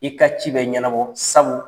I ka ci bɛ ɲɛnabɔ sabu